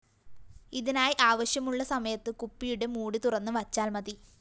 ഇതിനായി ആവശ്യമുള്ള സമയത്ത് കുപ്പിയുടെ ലിഡ്‌ തുറന്ന് വച്ചാല്‍ മതി